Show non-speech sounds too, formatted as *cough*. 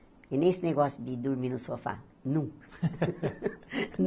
E nem esse negócio de ir dormir no sofá, nunca. *laughs*